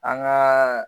An gaa